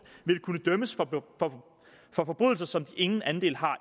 vil kunne dømmes for forbrydelser som de ingen andel har